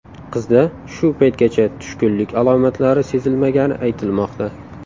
Qizda shu paytgacha tushkunlik alomatlari sezilmagani aytilmoqda.